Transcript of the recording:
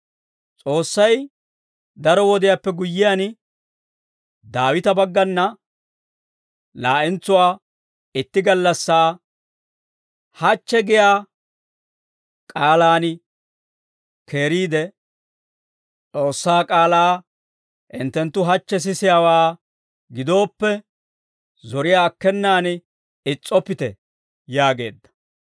S'oossay daro wodiyaappe guyyiyaan, Daawita baggana laa'entsuwaa itti gallassaa, «Hachche» giyaa k'aalaan keeriide, «S'oossaa k'aalaa hinttenttu hachche sisiyaawaa gidooppe, zoriyaa akkenaan is's'oppite» yaageedda.